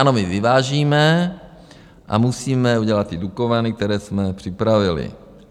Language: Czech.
Ano, my vyvážíme a musíme udělat ty Dukovany, které jsme připravili.